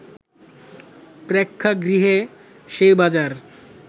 প্রেক্ষাগৃহই সেই বাজার